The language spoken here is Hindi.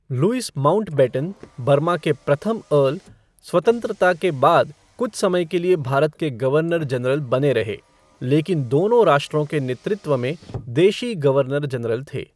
लुईस माउंटबेटन, बर्मा के प्रथम अर्ल स्वतंत्रता के बाद कुछ समय के लिए भारत के गवर्नर जनरल बने रहे, लेकिन दोनों राष्ट्रों के नेतृत्व में देशी गवर्नर जनरल थे।